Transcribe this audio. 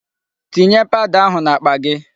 Tinye powder ahụ n'akpa gị.